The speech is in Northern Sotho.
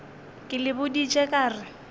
ke le boditše ka re